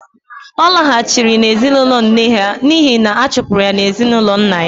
Ọ laghachiri na ezinụlọ nne ya n'ihi na a chụpụrụ ya n'ezinụlọ nna ya